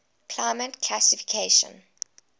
climate classification cfa